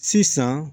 Sisan